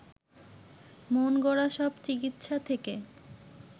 মনগড়া সব চিকিৎসা থেকে